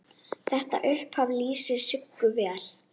Þetta upphaf lýsir Siggu vel.